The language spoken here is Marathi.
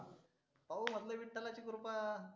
पाहु म्हंटल विठ्ठलाची कृपा.